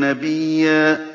نَّبِيًّا